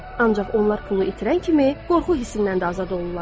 Ancaq onlar pulu itirən kimi qorxu hissindən də azad olurlar.